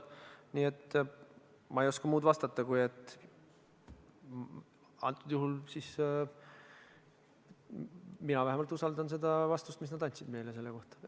Nii et ma ei oska muud vastata, kui et mina usaldan seda vastust, mis nad andsid meile selle kohta.